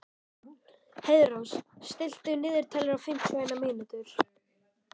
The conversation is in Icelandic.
Heiðrós, stilltu niðurteljara á fimmtíu og eina mínútur.